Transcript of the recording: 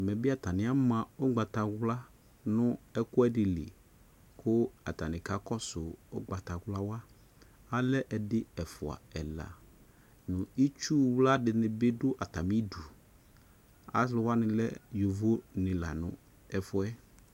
Ɛmɛ be atane ama ugbatawla no ɛkuɛde li ko atane ka kɔsougbatawla wa Alɛ ɛdi, ɛfua, ɛla no Itsuwla de ne be do atame du Alu wane lɛ yovo ne la no ɛfuɛ